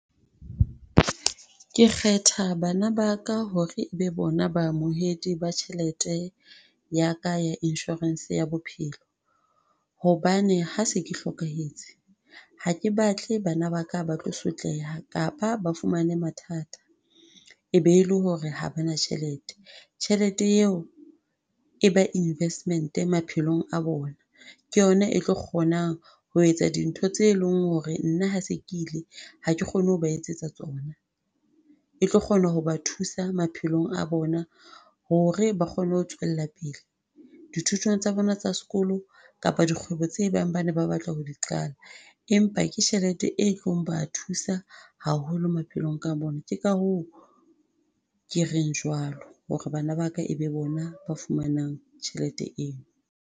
Ke kgetha bana ba ka hore e be bona baamohedi ba tjhelete ya ka insurance ya bophelo. Hobane ha se ke hlokahetse, ha ke batle bana ba ka ba tlo sotleha, kapa ba fumane mathata, e be le hore ha ba na tjhelete. Tjhelete eo e ba investment maphelong a bona, ke yona e tlo kgonang ho etsa dintho tseo e leng hore nna ha se ke ile, ha ke kgone ho ba etsetsa tsona. E tlo kgona ho ba thusa maphelong a bona hore ba kgone ho tswella pele, dithutong tsa bona tsa sekolo kapa dikgwebo tse bang bane ba batla ho di qala, empa ke tjhelete e tlo ba thusa haholo maphelong a bona. Ke ka hoo ke reng jwalo, hore bana ba ka e be bona ba fumanang tjhelete eo.